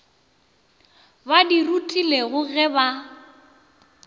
ba di rutilwego ge ba